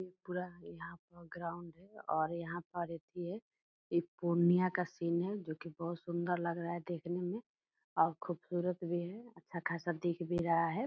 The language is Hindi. ये पूरा यहाँ पर अथी है इ पूर्णिया का सिन है जो की बहुत सुन्दर लग रहा है देखने में और खूबसूरत भी है अच्छा खासा दिख भी रहा है।